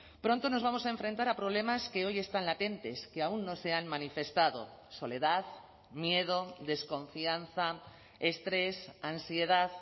pronto nos vamos a enfrentar a problemas que hoy están latentes que aún no se han manifestado soledad miedo desconfianza estrés ansiedad